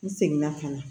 N seginna ka na